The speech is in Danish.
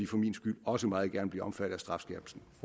for min skyld også meget gerne blive omfattet af strafskærpelsen